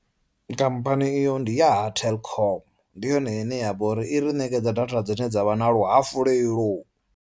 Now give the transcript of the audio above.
Company iyo ndi ya ha Telkom ndi yone ine yavha uri i ri ṋekedza data dzine dza vha na luhafulelo.